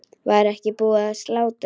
Var ekki búið að slátra?